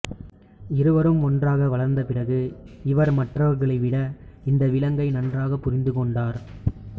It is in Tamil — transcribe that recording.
இருவரும் ஒன்றாக வளர்ந்த பிறகு இவர் மற்றவர்களை விட இந்த விலங்கை நன்றாக புரிந்து கொண்டார்